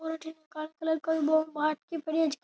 और अठीने कालो कलर को वो बाटकी पड़ी है।